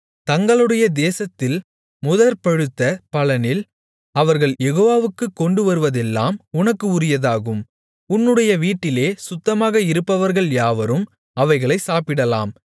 தங்களுடைய தேசத்தில் முதற் பழுத்த பலனில் அவர்கள் யெகோவாவுக்குக் கொண்டு வருவதெல்லாம் உனக்கு உரியதாகும் உன்னுடைய வீட்டிலே சுத்தமாக இருப்பவர்கள் யாவரும் அவைகளைச் சாப்பிடலாம்